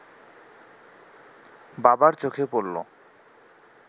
বাবার চোখে পড়ল